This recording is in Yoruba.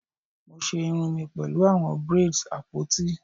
Mo ṣe irun mi pẹlu awọn braids apoti